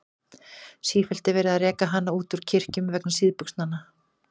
Sífellt er verið að reka hana út úr kirkjum vegna síðbuxnanna.